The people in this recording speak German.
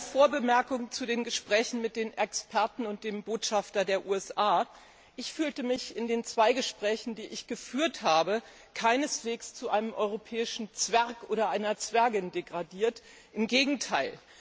Zunächst eine Vorbemerkung zu den Gesprächen mit den Experten und dem Botschafter der USA. Ich fühlte mich in den zwei Gesprächen, die ich geführt habe, keineswegs zu einem europäischen Zwerg oder einer Zwergin degradiert, im Gegenteil.